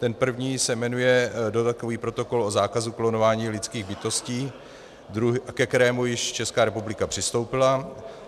Ten první se jmenuje dodatkový protokol o zákazu klonování lidských bytostí, ke kterému již Česká republika přistoupila.